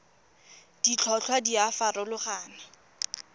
ditlhotlhwa di a farologana go